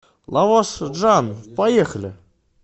лаваш джан поехали